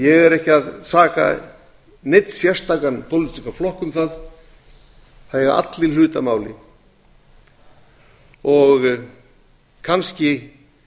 ég er ekki að saka neinn sérstakan pólitískan flokk um það það eiga allir hlut að máli kannski